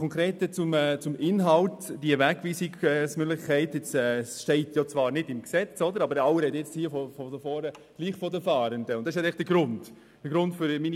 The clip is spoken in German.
Zum Inhalt: Die Fahrenden stehen bezüglich Wegweisungen zwar nicht als Fahrende im Gesetz, dennoch sprechen alle von ihnen.